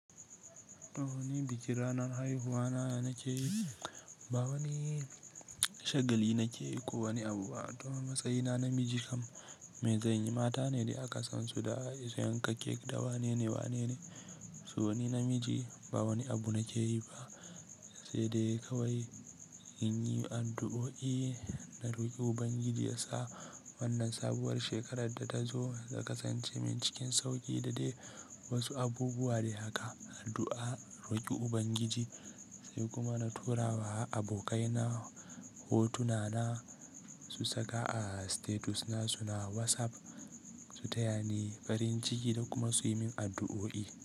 Ba wani bikin ranar haihuwana da nake yi ba wani shagali nake yi ko wani abu, don a matsayina namiji kam, me zanyi mata ne dai aka san su da yanka cake da wane ne, wane ne. To wani namiji ba wani abu nake yi ba, sai dai kawai in yi addu'o'i na roki Ubangiji ya sa wannan sabuwar shekarar da ta zo ta kasance min cikin sauƙi da dai wasu abubuwa. Da haka addu'a, a roki Ubangiji, sai kuma na tura wa abokaina hotuna na su saka a status na su na WhatsApp su taya ni farin ciki da kuma su yi min addu'o'i.